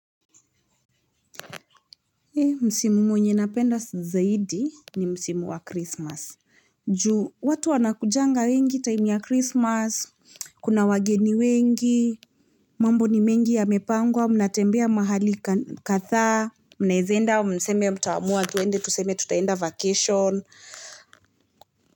Msimu mwenye napenda zaidi ni msimu wa krismasi. Ju watu wanakujanga wengi time ya krismas. Kuna wageni wengi. Mambo ni mengi yamepangwa, mnatembea mahali kadhaa. Mnaweza enda mseme mtaamua twende tuseme tutaenda vacation.